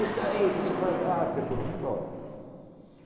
Isso aí que se faz arte e foram embora.